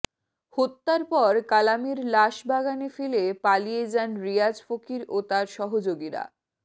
হত্যার পর কালামের লাশ বাগানে ফেলে পালিয়ে যান রিয়াজ ফকির ও তার সহযোগীরা